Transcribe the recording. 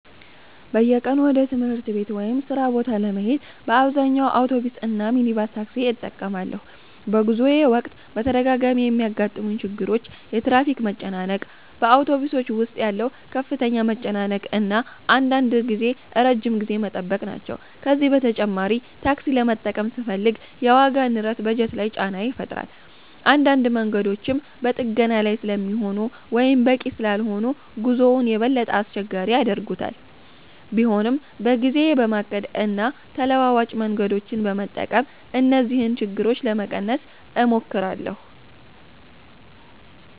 "በየቀኑ ወደ ትምህርት ቤት/ሥራ ቦታ ለመሄድ በአብዛኛው አውቶቡስ እና ሚኒባስ ታክሲ እጠቀማለሁ። በጉዞዬ ወቅት በተደጋጋሚ የሚያጋጥሙኝ ችግሮች የትራፊክ መጨናነቅ፣ በአውቶቡሶች ውስጥ ያለው ከፍተኛ መጨናነቅ እና አንዳንድ ጊዜ ረጅም ጊዜ መጠበቅ ናቸው። ከዚህ በተጨማሪ ታክሲ ለመጠቀም ስፈልግ የዋጋ ንረት በጀት ላይ ጫና ይፈጥራል። አንዳንድ መንገዶችም በጥገና ላይ ስለሚሆኑ ወይም በቂ ስላልሆኑ ጉዞውን የበለጠ አስቸጋሪ ያደርጉታል። ቢሆንም በጊዜዬ በማቀድ እና ተለዋጭ መንገዶችን በመጠቀም እነዚህን ችግሮች ለመቀነስ እሞክራለሁ።"